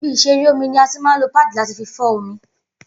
Ibi ìṣeré omi ní a tí máa ń lo páàdì láti fí fọ́n omi